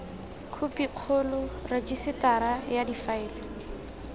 khophi kgolo rejisetara ya difaele